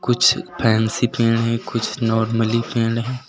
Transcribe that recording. कुछ फैंसी पेड़ हैं। कुछ नॉर्मली पेड़ हैं।